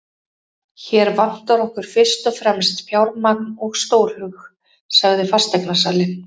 Hér vantar okkur fyrst og fremst fjármagn og stórhug, sagði fasteignasalinn.